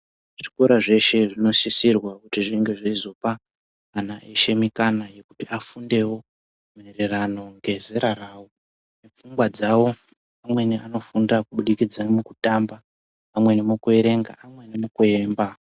Zvikora zveshe zvinosisirwa kunge zveizopa ana mikana yekuti afundewo Maererano nezera rawo ndofunga dzawo vanofundira kuerenga pamweni kuemba.